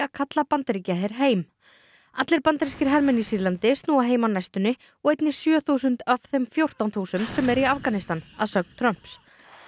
kalla Bandaríkjaher heim allir bandarískir hermenn í Sýrlandi snúa heim á næstunni og einnig sjö þúsund af þeim fjórtán þúsund sem eru Afganistan að sögn Trumps